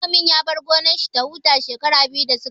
Manomin ya bar gonan shi ya huta shekara biyu da suka wuce